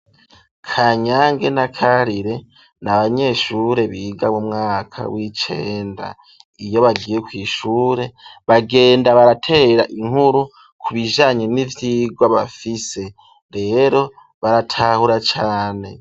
Kanyange na karire n'abanyeshure biga mumwaka w'icenda iyo bagiye kw'ishure bagenda baratera inkuru ku bijanye n'ivyigwa bafise rero baratahura cane.